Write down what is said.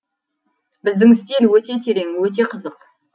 біздің стиль өте терең өте қызық